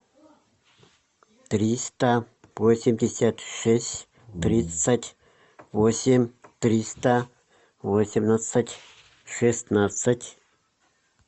триста восемьдесят шесть тридцать восемь триста восемнадцать шестнадцать